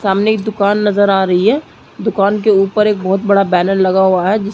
सामने एक दुकान नज़र आ रही है दुकान के ऊपर एक बहोत बड़ा बैनर लगा हुआ है जिस--